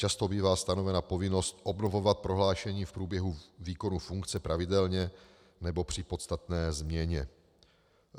Často bývá stanovena povinnost obnovovat prohlášení v průběhu výkonu funkce pravidelně nebo při podstatné změně.